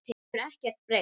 Það hefur ekkert breyst.